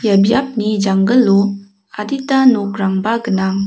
biapni janggilo adita nokrangba gnang.